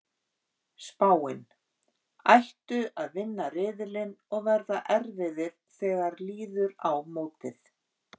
Spáin: Ættu að vinna riðilinn og verða erfiðir þegar líður á mótið.